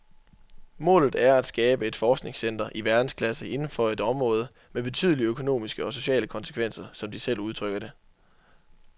Målet er at skabe et forskningscenter i verdensklasse inden for et område med betydelige økomomiske og sociale konsekvenser, som de selv udtrykker det.